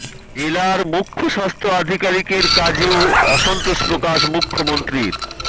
জেলার মুখ্য স্বাস্থ আধিকারিকের কাজে ও অসন্তোষ প্রকাশ মুখ্যমন্ত্রীর